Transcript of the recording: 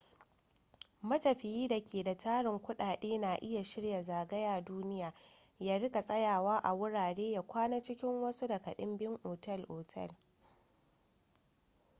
matafiyi da ke da tarin kudade na iya shirya zagaya duniya ya rika tsayawa a wurare ya kwana cikin wasu daga dimbin ota-otal